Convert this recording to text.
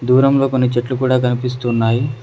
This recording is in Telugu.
దూరంలో కొన్ని చెట్లు కూడా కనిపిస్తున్నాయి.